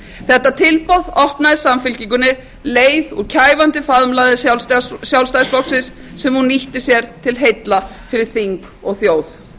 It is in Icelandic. þetta tilboð opnaði samfylkingunni leið úr kæfandi faðmlagi sjálfstæðisflokksins sem hún nýtti sér til heilla fyrir þing og þjóð en þetta tilboð